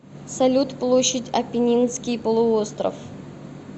салют площадь аппенинский полуостров